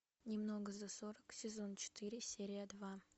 немного за сорок сезон четыре серия два